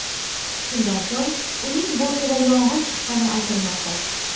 Shundan so‘ng uning bortida yong‘in chiqqani aytilmoqda.